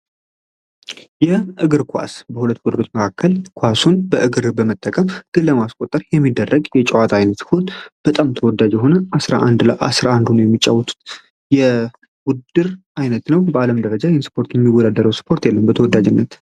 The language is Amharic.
እግር ኳስ በሁለት ማእከል ኳሱን በእግር በመጠቀም አስቆጠር የሚደረግ የጨዋታ አይነቶች በጣም ተወዳጅ የሆነ 11 ለ 11 ሆነው ለመጫዎት የውድድር አይነት ነው። ደረጃን ይህን ስፖርት የሚወዳደሩ የለም ተወዳጅ በመሆኑ።